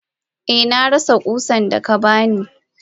Eh narasa kusan daka bani.